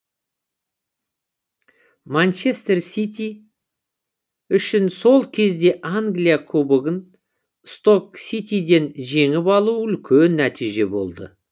манчестер сити үшін сол кезде англия кубогын сток ситиден жеңіп алу үлкен нәтиже болды